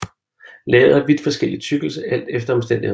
Laget har vidt forskellig tykkelse alt efter omstændighederne